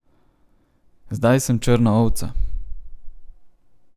Zdaj sem črna ovca.